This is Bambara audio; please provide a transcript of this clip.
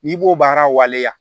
N'i b'o baara waleya